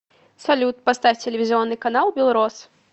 салют поставь телевизионный канал белрос